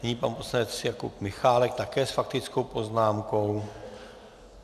Nyní pan poslanec Jakub Michálek, také s faktickou poznámkou.